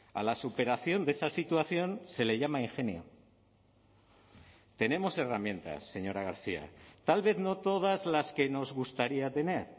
a la superación de esa situación se le llama ingenio tenemos herramientas señora garcia tal vez no todas las que nos gustaría tener